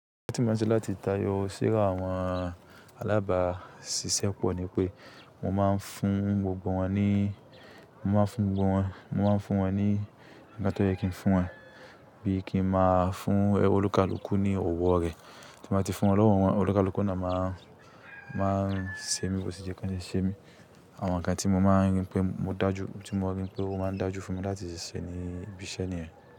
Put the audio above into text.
Tí máa ń ṣe láti tayọ síra àwọn alábàásisẹ́ pọ̀ ni pé mo máa ń fún gbogbo wọn ní, mo máa ń fún gbogbo wọn, mo máa ń fún wọn ní nǹkan tó yẹ kí n fún wọn bí i kí n máa fún olùkálùkù ní òwò rẹ̀. Tí mo bá ti fún ọlọ́wọ́ wọn, olùkálùkù náà máa, máa ń sé mi bó ti jẹ́ kí ó ṣe é ṣe mí àwọn nǹkan tí mo máa rí pé mo dájú, tí mo rí pé ó máa ń dájú fún mi láti ṣíṣe ní ibi iṣẹ́ niyen.